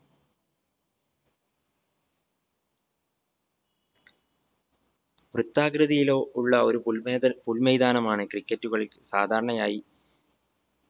വൃത്താകൃതിയിലോ ഉള്ള ഒരു പുൽമൈ പുൽമൈതാനമാണ് cricket ഉ കളിക്ക് സാധാരണയായി